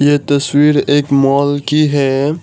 यह तस्वीर एक मॉल की है।